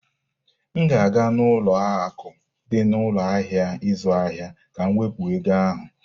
M ga-aga n'ụlọ akụ dị na ụlọ ahịa ịzụ ahịa ka m wepụ ego ahụ.